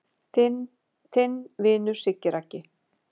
Þinn vinur Siggi Raggi